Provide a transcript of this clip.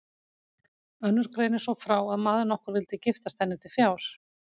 Önnur greinir svo frá að maður nokkur vildi giftast henni til fjár.